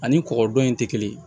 Ani kɔgɔdɔn in tɛ kelen ye